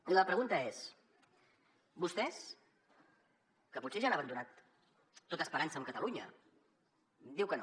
i la pregunta és vostès que potser ja han abandonat tota esperança amb catalunya diu que no